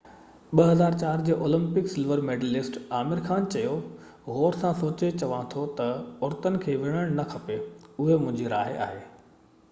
2004 جو Olympic silver medallist Aamir Khan چيو غور سان سوچي چوان ٿو ته عورتن کي وڙهڻ نه کپي اهو منهنجي راءِ آهي